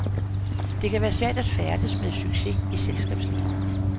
Det kan være svært at færdes med succes i selskabslivet.